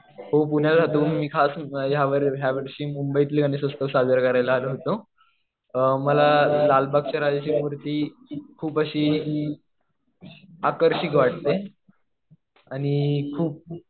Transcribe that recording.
हो पुण्याला राहतो मी. खास या वर्षी मुंबईतले गणेश उत्सव साजरे करायला आलो होतो. मला लालबागच्या राजाची मूर्ती खूप अशी आकर्षक वाटते. आणि खूप